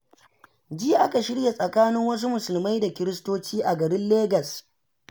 Jiya aka shirya tsakanin wasu musulmai da kiristocin a garin legas.